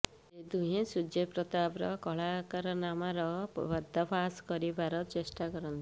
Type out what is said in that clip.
ସେ ଦୁହେଁ ସୂର୍ଯ୍ୟପ୍ରତାପର କଳାକାରନାମାର ପର୍ଦ୍ଦାଫାସ୍ କରିବାରେ ଚେଷ୍ଟା କରନ୍ତି